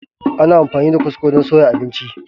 Ana amfani da kwasko don soya abinci.